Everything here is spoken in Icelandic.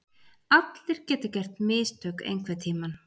Allir geta gert mistök einhverntímann.